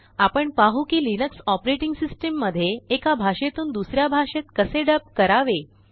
आपण पाहू किलिनक्स ऑपरेटिंग सिस्टम मध्ये एकाभाषेतून दुसऱ्याभाषेत कसेडब करावे